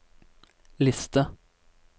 liste